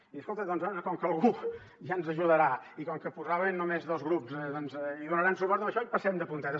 i escolta doncs com que algú ja ens ajudarà i com que posaven només dos grups hi donaran suport a això i passem de puntetes